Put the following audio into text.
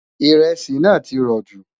iresi nà tí rò jù